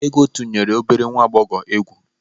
Ego tunyere obere nwa agbọghọ egwu.